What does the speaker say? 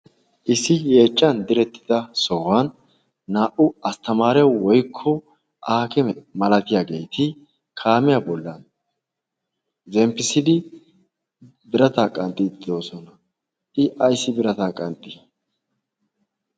issi yeechchan direttida soohuwan